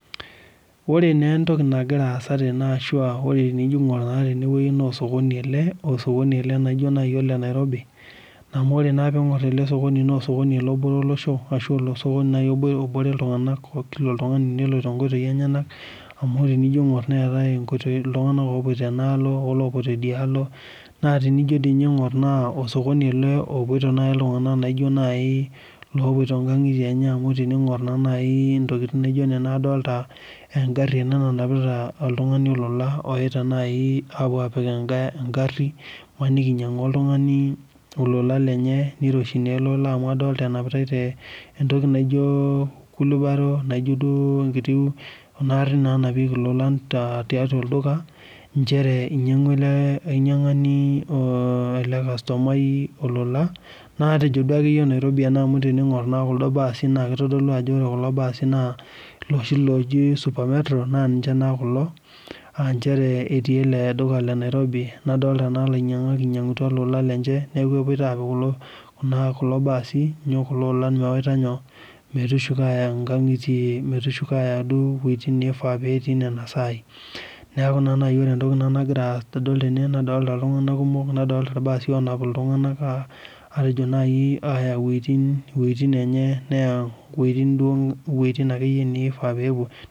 Oree naa entoki nagiraa aasa tenewueji ashua enijo aingorr naa tene wueji naa osokoni taa ele naijo naaji ole Nairobi amu ore naa pee ingorr ele sokoni naa lobore olosho aahua obore ltunganak laijoo naaji lopoita nkangitie enye amu enijo aingorr eetae ltunganak opoita enaalo olopoito idialo naa tinijo doi ninye aingorr osokoni ele opoito naaji ltunganak naijo naaji lopoito nkangitie enye amu teningorr naa naji ntokikitin naijo nena adolita engari nanapita oltungani olola oyaita naaji apuo apik enkae gari imaniki in inyangua oltungani olola lenye neiroshi naa ele ollaa amu adolita enapitae te ntoki naijo kulibaro naijo duo kuna arrin nanapiekie lolan too dukai nchere enyangua ele ainyangani ashu ele customai olola naa tejo duakeyie Nairobi ena amu teningorr kuldo baasi naa kitodolu ajo ore kulo baasi loshi looji supermetro naa ninche naa kulo aaa ninche otii ele duka le Nairobi nadolita naa lainyangak einyangutua lolan lenye niaku epoito apik atua kulo baasi kulo olan metushuko aaya nkangitie metushuko duo aya wuejitin neifaa netii nena saai niaku naa naaji ore entoki nagira adolita tene nadolita ltunganak kumok nadolita sii ngarin nayaita ltunganak wuejitin duo naifaa nepuo